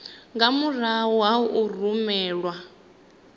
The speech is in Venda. nga murahu ha u rumelwa